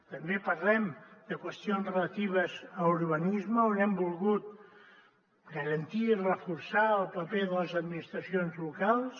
també parlem de qüestions relatives a urbanisme on hem volgut garantir i reforçar el paper de les administracions locals